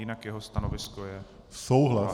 Jinak jeho stanovisko je souhlasné.